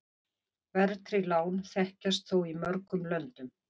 Verðtryggð lán þekkjast þó í mörgum löndum.